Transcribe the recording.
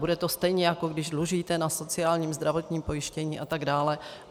Bude to stejně, jako když dlužíte na sociálním, zdravotním pojištění a tak dále.